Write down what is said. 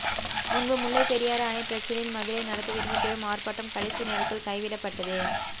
முன்பு முல்லைப் பெரியாறு அணைப் பிரச்சினையில் மதுரையில் நடத்தவிருந்த பெரும் ஆர்ப்பாட்டம் கடைசி நேரத்தில் கைவிடப்பட்டதே